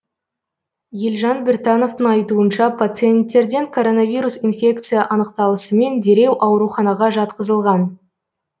елжан біртановтың айтуынша пациенттерден коронавирус инфекция анықталысымен дереу ауруханаға жатқызылған